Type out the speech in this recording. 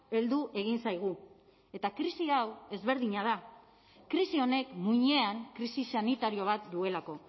heldu egin zaigu eta krisi hau ezberdina da krisi honek muinean krisi sanitario bat duelako